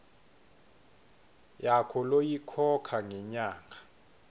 yakho loyikhokha ngenyanga